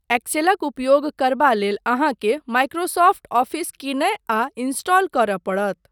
एक्सेलक उपयोग करबा लेल अहाँकेँ माइक्रोसॉफ्ट ऑफिस कीनय आ इंस्टॉल करय पड़त।